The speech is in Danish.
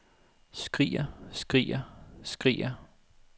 skriger skriger skriger